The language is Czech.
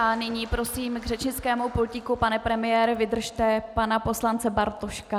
A nyní prosím k řečnickému pultíku - pane premiére, vydržte - pana poslance Bartoška.